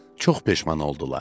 Çox peşman oldular.